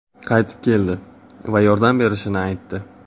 qaytib keldi va yordam berishini aytdi.